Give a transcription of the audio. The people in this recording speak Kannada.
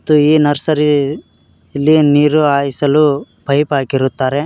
ಮತ್ತು ಈ ನರ್ಸರಿ ಇಲ್ಲಿ ನೀರು ಹಾಯಿಸಲು ಪೈಪ್ ಹಾಕಿರುತ್ತಾರೆ.